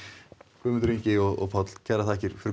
Guðmundur Ingi og Páll kærar þakkir fyrir